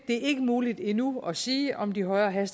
det er ikke muligt endnu at sige om de højere